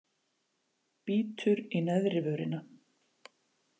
Bítur í neðri vörina.